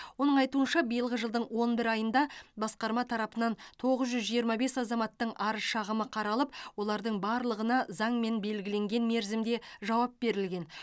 оның айтуынша биылғы жылдың он бір айында басқарма тарапынан тоғыз жүз жиырма бес азаматтың арыз шағымы қаралып олардың барлығына заңмен белгіленген мерзімде жауап берілген